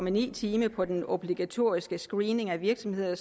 en time på den obligatoriske screening af virksomheder og